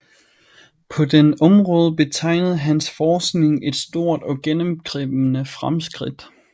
På dette område betegnede hans forskning et stort og gennemgribende fremskridt